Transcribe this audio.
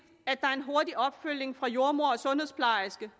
at der er en hurtig opfølgning fra jordemoder og sundhedsplejerske